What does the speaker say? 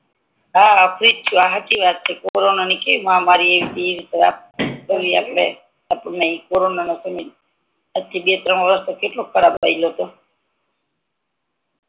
હા ફ્રી જ છું હચી વાત છે કોરોના ની કેવી મહામારી આયવી ત એટલે થતું નથી પછી બે ત્રણ વરસ કેટલો ખરાબ હાળ્યો તો